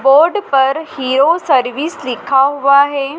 Board पर Hero service लिखा हुआ है।